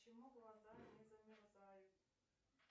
почему глаза не замерзают